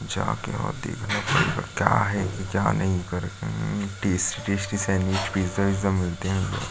जाके वहाँ देखना पड़ेगा क्या है? कि क्या नहीं है करके टेस्टी -वेस्टी सैंडविच पिज़्ज़ा - विज्ज़ा मिलते हैं।